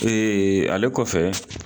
ale kɔfɛ